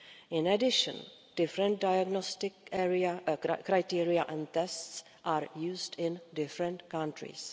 In addition, different diagnostic criteria and tests are used in different countries.